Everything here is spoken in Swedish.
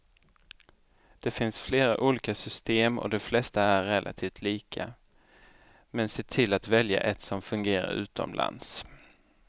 Det finns flera olika system och de flesta är relativt lika, men se till att välja ett som fungerar utomlands.